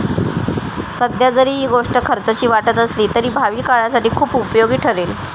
सध्या जरी ही गोष्ट खर्चाची वाटत असली तरी भावी काळासाठी खुप उपयोगी ठरेल.